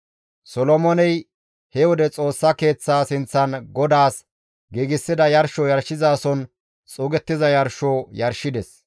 Solomooney he wode Xoossa Keeththaa sinththan GODAAS giigsida yarsho yarshizason xuugettiza yarsho yarshides.